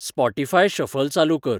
Spotify shuffle चालू कर